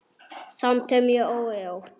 Samt er mér órótt.